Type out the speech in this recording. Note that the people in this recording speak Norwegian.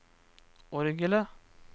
orgelet